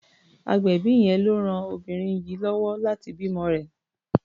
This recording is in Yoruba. Agbẹ̀bí yẹn ló ran obìnrin yìí lọ́wọ́ láti bímọ rẹ̀.